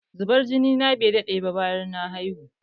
Zubar jini na bai daɗe ba bayan na haihu